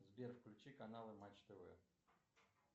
сбер включи каналы матч тв